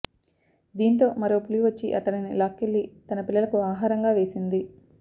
దీంతో మరో పులి వచ్చి అతనిని లాక్కెళ్లి తన పిల్లలకు ఆహారంగా వేసింది